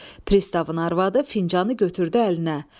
Pristavın arvadı fincanı götürdü əlinə.